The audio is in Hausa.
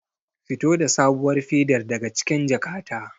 Fito da sabuwar fedar daga cikin jakata.